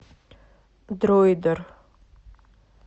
дроидер